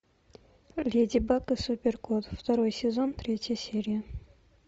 леди баг и супер кот второй сезон третья серия